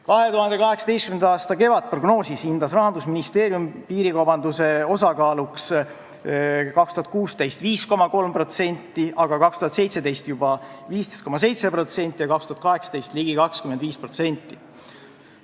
2018. aasta kevadprognoosis hindas Rahandusministeerium piirikaubanduse osakaaluks 2016. aastal 5,3%, aga 2017. aastal juba 15,7% ja 2018. aastal ligi 25%.